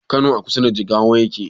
Kano a kusa da jigawa yake?